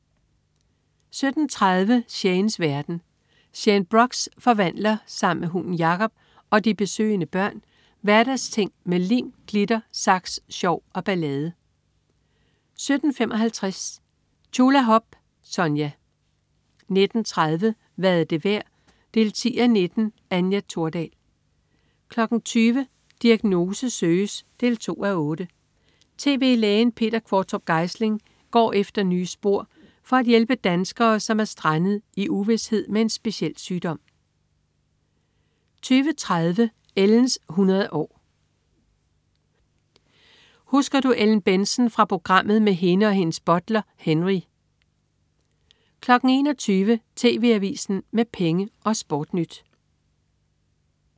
17.30 Shanes verden. Shane Brox forvandler sammen med hunden Jacob og de besøgende børn hverdagsting med lim, glitter, saks, sjov og ballade 17.55 Tjulahop. Sonja 19.30 Hvad er det værd 10:19. Anja Thordal 20.00 Diagnose søges 2:8. Tv-lægen Peter Qvortrup Geisling går efter nye spor for at hjælpe danskere, som er strandet i uvished med en speciel sygdom 20.30 Ellens 100 år. Husker du Ellen Bentzen fra programmet med hende og hendes butler, Henry? 21.00 TV AVISEN med Penge og SportNyt